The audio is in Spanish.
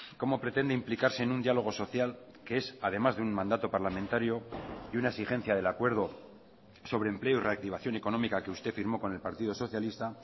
cómo pretende implicarse en un diálogo social que es además de un mandato parlamentario y una exigencia del acuerdo sobre empleo y reactivación económica que usted firmó con el partido socialista